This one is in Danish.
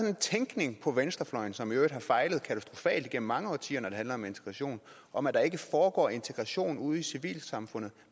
en tænkning på venstrefløjen som i øvrigt har fejlet katastrofalt igennem mange årtier når det handler om integration om at der ikke foregår integration ude i civilsamfundet